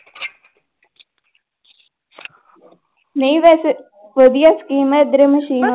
ਨਹੀਂ ਵੈਸੇ ਵਧੀਆ scheme ਹੈ ਇੱਧਰ ਮਸ਼ੀਨ